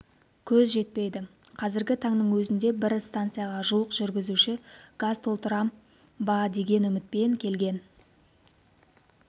көз жетпейді қазіргі таңның өзінде бір станцияға жуық жүргізуші газ толтырам ба деген үмітпен келген